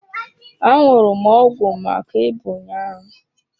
Aṅụrụ m ọgwụ maka ịba ụnyaahụ.